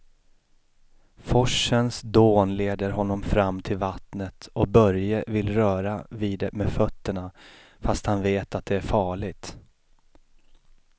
Forsens dån leder honom fram till vattnet och Börje vill röra vid det med fötterna, fast han vet att det är farligt.